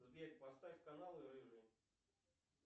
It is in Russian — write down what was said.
сбер поставь канал рыжий